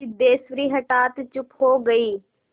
सिद्धेश्वरी हठात चुप हो गई